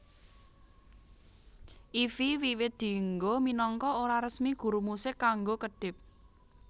Ify wiwit dienggo minangka ora resmi guru musik kanggo kedhip